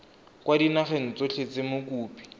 kwa dinageng tsotlhe tse mokopi